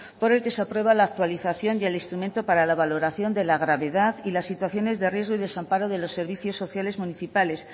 por el que se aprueba la actualización y el instrumento para la valoración de la gravedad y las situaciones de riesgo y desamparo de los servicios sociales municipales